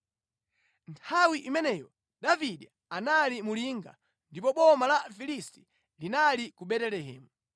Nthawi imeneyo Davide anali mu linga, ndipo boma la Afilisti linali ku Betelehemu.